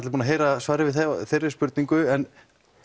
búnir að heyra svarið við þeirri spurningu en